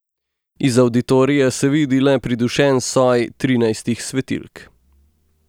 Iz avditorija se vidi le pridušen soj trinajstih svetilk.